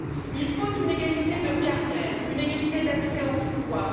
Il faut une égalité de carrière, une égalité d'accès au pouvoir.